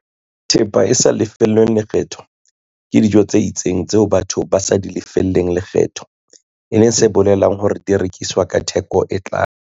Thepa e sa lefellweng lekgetho ke dijo tse itseng tseo batho ba sa di lefelleng lekgetho, e leng se bolelang hore di rekiswa ka theko e tlase.